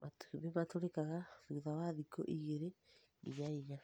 Matumbĩ matũrĩkaga thutha wathikũ igĩrĩ nginya inya